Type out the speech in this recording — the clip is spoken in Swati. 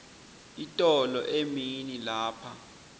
itolo emini lapha